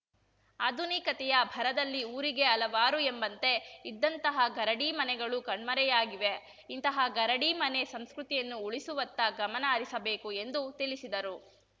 ಆಧುನಿಕತೆಯ ಭರದಲ್ಲಿ ಊರಿಗೆ ಹಲವಾರು ಎಂಬಂತೆ ಇದ್ದಂತಹ ಗರಡಿ ಮನೆಗಳೂ ಕಣ್ಮರೆಯಾಗಿವೆ ಇಂತಹ ಗರಡಿ ಮನೆ ಸಂಸ್ಕೃತಿಯನ್ನೂ ಉಳಿಸುವತ್ತ ಗಮನ ಹರಿಸಬೇಕು ಎಂದು ತಿಳಿಸಿದರು